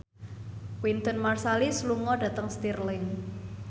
Wynton Marsalis lunga dhateng Stirling